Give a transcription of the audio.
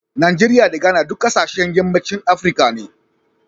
Najeriya da Ghana duk kasashen yammacin Afirka ne.